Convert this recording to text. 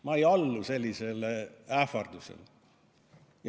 Ma ei allu sellisele ähvardusele.